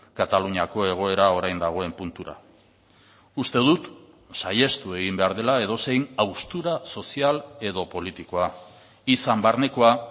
kataluniako egoera orain dagoen puntura uste dut saihestu egin behar dela edozein haustura sozial edo politikoa izan barnekoa